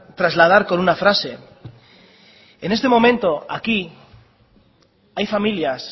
trasladar con una frase en este momento aquí hay familias